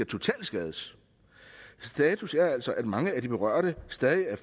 totalskade status er altså at mange af de berørte stadig er